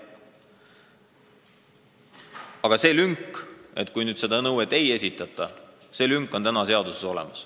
Aga selle juhtumi kohta, kui seda nõuet ei esitata, on praegu seaduses lünk.